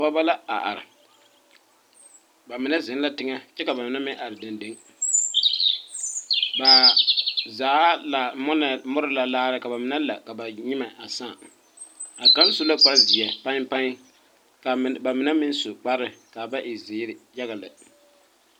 Dɔbɔ la a are ba mine zeŋ la teŋɛ kyɛ ka bamine meŋ are deŋdeŋ ba zaa la mori la laare ka ba mine la ka ba nyimɛ saa a kaŋ su la kparrezeɛ paɛŋpaɛŋ ka ba mine meŋ su kparre ka a ba e zeeri yaga lɛ.